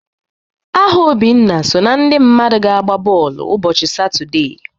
Aha Obinna so na ndị mmadụ ga-agba bọọlụ ụbọchị Satọde